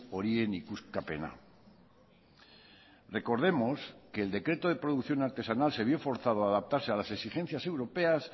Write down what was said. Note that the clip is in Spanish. horien ikuskapena recordemos que el decreto de producción artesanal se vio forzado a adaptarse a las exigencias europeas